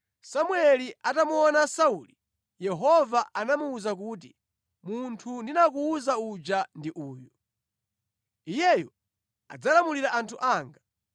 Samueli atamuona Sauli, Yehova anamuwuza kuti, “Munthu ndinakuwuza uja ndi uyu. Iyeyu adzalamulira anthu anga.”